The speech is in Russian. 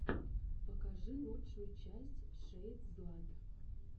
покажи лучшую часть шэйдзлат